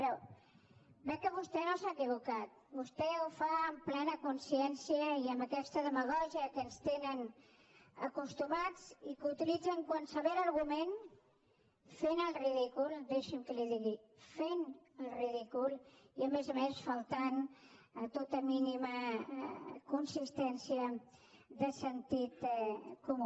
però veig que vostè no s’ha equivocat vostè ho fa amb plena consciència i amb aquesta demagògia a què ens tenen acostumats i que utilitzen qualsevol argument fent el ridícul deixi’m que li ho digui fent el ridícul i a més a més faltant a tota mínima consistència de sentit comú